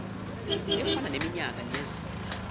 efana neminyaka nezinga